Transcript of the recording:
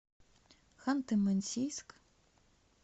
ханты мансийск